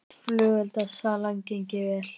Flugeldasalan gengið vel